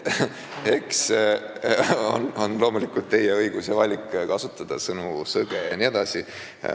Eks see on loomulikult teie õigus ja valik kasutada sõnu, nagu "sõge" jne.